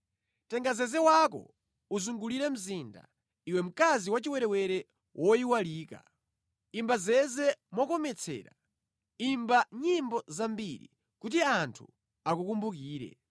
“Tenga zeze wako uzungulire mzinda, iwe mkazi wachiwerewere woyiwalika; imba zeze mokometsera, imba nyimbo zambiri, kuti anthu akukumbukire.”